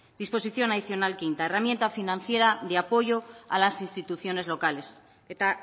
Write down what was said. disposición adicional quinta herramienta financiera de apoyo a las instituciones locales eta